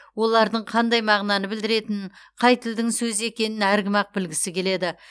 олардың қандай мағынаны білдіретінін қай тілдің сөзі екенін әркім ақ білгісі келеді